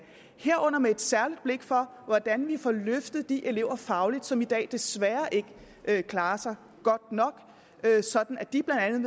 herunder med særligt blik for hvordan vi får løftet de elever fagligt som i dag desværre ikke klarer sig godt nok sådan at de blandt andet